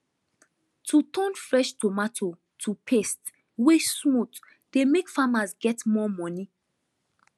to turn fresh tomato to paste wey smooth dey make farmers get more money